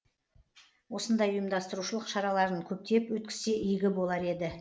осындай ұйымдастырушылық шараларын көптеп өткізсе игі болар еді